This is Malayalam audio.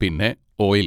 പിന്നെ ഓയിൽ!